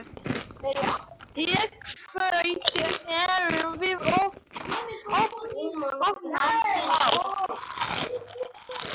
Í kvöld erum við ofan á.